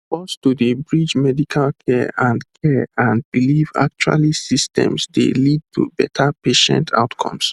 pause to dey bridge medical care and care and belief actually systems dey lead to better patient outcomes